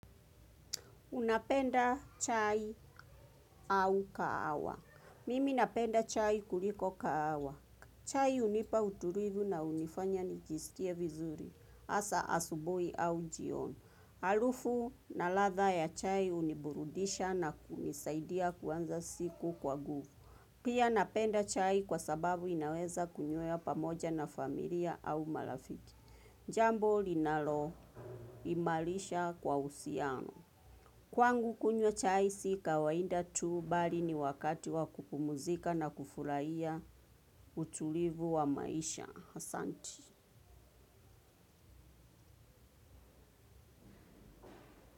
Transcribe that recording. Unapenda chai au kahawa? Mimi napenda chai kuliko kaawa. Chai hunipa utulivu na hunifanya nijisikie vizuri. Hasa asubui au jioni. Harufu na ladha ya chai huniburudisha na kunisaidia kuanza siku kwa nguvu. Pia napenda chai kwa sababu inaweza kunywewa pamoja na familia au marafiki. Jambo linaloimarisha kwa uhusiano. Kwangu kunywa chai si kawaida tu bali ni wakati wa kupumuzika na kufurahia utulivu wa maisha. Asanti.